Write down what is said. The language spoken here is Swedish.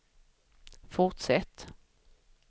fortsätt